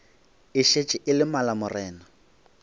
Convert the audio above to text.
e šetše e le malamorena